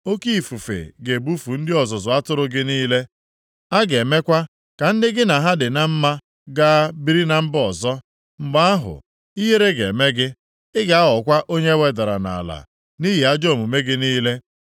Oke ifufe ga-ebufu ndị ọzụzụ atụrụ gị niile, a ga-emekwa ka ndị gị na ha dị na mma gaa biri na mba ọzọ. Mgbe ahụ, ihere ga-eme gị, ị ga-aghọkwa onye e wedara nʼala nʼihi ajọ omume gị niile.